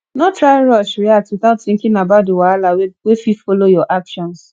no try rush react without thinking about di wahala wey fit follow your actions